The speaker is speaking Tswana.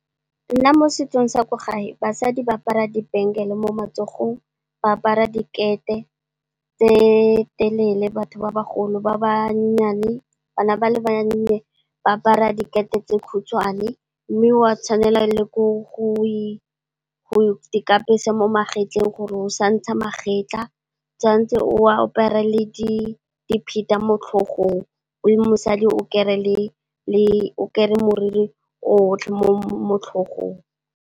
Nna mo setsong sa kwa gae basadi ba apara dibengele mo matsogong ba apara dikete tse telele, batho ba bagolo. Bana ba le bannye ba apara dikete tse khutshwane mme, wa tshwanela e le gore o ikapesa mo magetleng gore o sa ntsha magetlha, tshwantse o apere le di dipheta mo tlhogong o le mosadi o kere moriri o otlhe mo tlhogong.